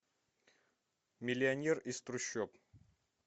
миллионер из трущоб